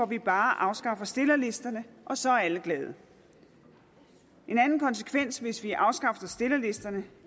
vi bare afskaffer stillerlisterne og så er alle glade en anden konsekvens hvis vi afskaffede stillerlisterne